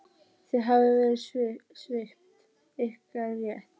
Þið hafið verið svipt ykkar rétti.